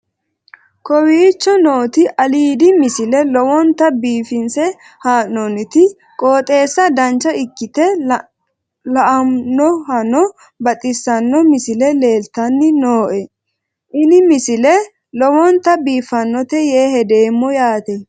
kowicho nooti aliidi misile lowonta biifinse haa'noonniti qooxeessano dancha ikkite la'annohano baxissanno misile leeltanni nooe ini misile lowonta biifffinnote yee hedeemmo yaate